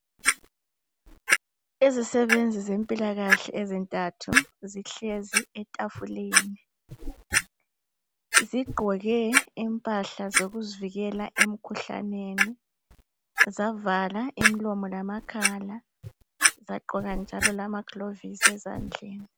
Izisebenzi zempilakahle ezintathu zihlezi etafuleni zigqoke impahla zokuzivikela emkhuhlaneni, zavala imilomo lamakhala zagqoka njalo lamaglovisi ezandleni.